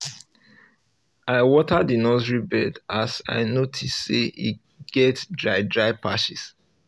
i water the nursery beds as i notice say e get dry dry patches